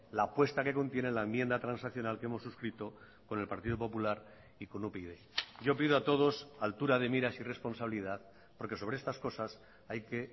la apuesta que contiene la enmienda transaccional que hemos suscrito con el partido popular y con upyd yo pido a todos altura de miras y responsabilidad porque sobre estas cosas hay que